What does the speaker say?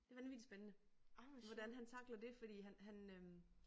Det vanvittig spændende. Det hvordan han tackler det fordi han han øh